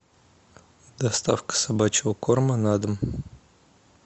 доставка собачьего корма на дом